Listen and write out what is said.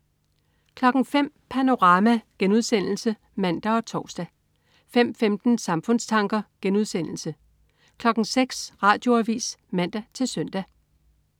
05.00 Panorama* (man og tors) 05.15 Samfundstanker* 06.00 Radioavis (man-søn)